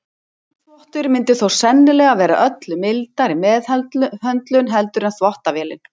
Handþvottur myndi þó sennilega vera öllu mildari meðhöndlun heldur en þvottavélin.